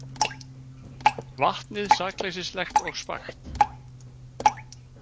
Vatnið sakleysislegt og spakt.